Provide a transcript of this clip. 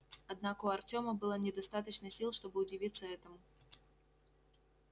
однако у артёма было недостаточно сил чтобы удивиться этому